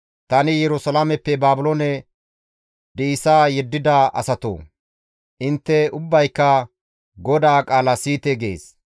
« ‹Tani Yerusalaameppe Baabiloone di7isa yeddida asatoo! Intte ubbayka GODAA qaala siyite› gees.